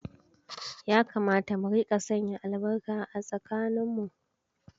Ya kamata mu rika sanya albarka a tsakaninmu.